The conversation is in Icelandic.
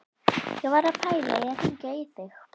Ég var að pæla í að hringja í þig.